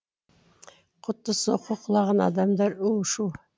құтты соққы құлаған адамдар у шу